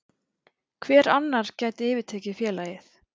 Hver annar gæti yfirtekið félagið?